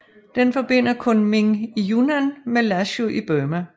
Den forbinder Kunming i Yunnan med Lashio i Burma